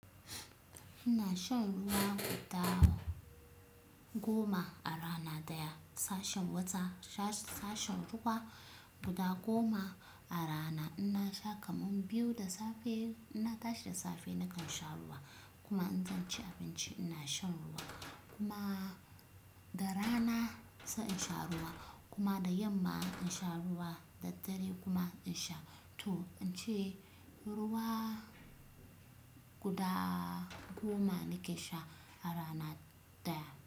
Ina shan ruwa guda goma a rana daya, sashen wata-- sa-sashen ruwa guda goma a rana. Inna sha kaman biyu da safe, inna tashi da safe nakan sha ruwa, kuma in zan ci abinci ina shan ruwa kuma da rana sai in sha ruwa kuma da yamma in sha ruwa, da dare kuma in sha. To, in ce ruwa guda goma nake sha a rana daya.